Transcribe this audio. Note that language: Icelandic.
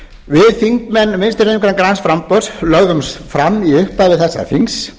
við þingmenn vinstri hreyfingarinnar græns framboðs lögðum fram í upphafi þessa þings